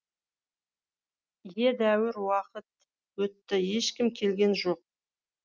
едәуір уақыт өтті ешкім келген жоқ